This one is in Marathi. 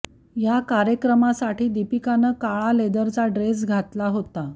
या कार्यक्रमासाठी दीपिकानं काळा लेदरचा ड्रेस घातला होता